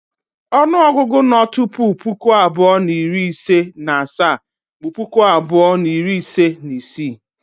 Onuogugu no tupu puku abuo na iri ise na asaa bụ puku abuo na iri ise na isii.